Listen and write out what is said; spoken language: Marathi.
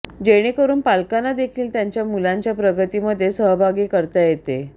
जेणेकरून पालकांना देखील त्यांच्या मुलांच्या प्रगतीमध्ये सहभागी करता येते